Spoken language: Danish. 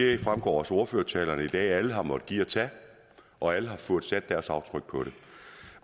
det fremgår også af ordførertalerne i dag at alle har måttet give og tage og alle har fået sat deres aftryk på det